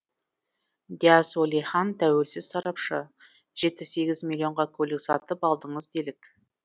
дияс уәлихан тәуелсіз сарапшы жеті сегіз миллионға көлік сатып алдыңыз делік